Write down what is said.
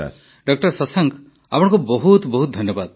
ଡା ଶଶାଙ୍କ ଆପଣଙ୍କୁ ବହୁତ ବହୁତ ଧନ୍ୟବାଦ